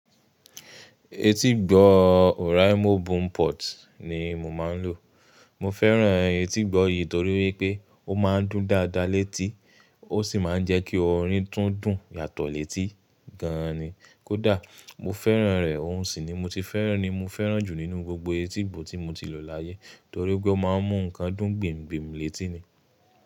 Etígbọ̀ Oraimo bun Port ni mo máa ń lò. Mo fẹ́ràn etígbọ̀ yìí torí wípé ó máa ń dún dáadáa létí ó sì máa ń jẹ́ kí orin tún dùn yàtọ̀ létí gan ni. Kódà mo fẹ́ràn rẹ̀, òun sì ni mo ti fẹ́ràn ni mo fẹ́ràn jù nínú gbogbo etígbọ̀ tí mo ti lò láyé torí pé ó máa ń mú nǹkan dùn gbimgbim létí ni.